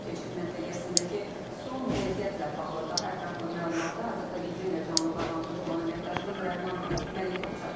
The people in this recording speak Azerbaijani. Keçid məntəqəsindəki son vəziyyətlə bağlı daha ətraflı məlumatı hazırda bizimlə canlı bağlantıda olan əməkdaşımız Rəhman Məlikov çatdıracaq.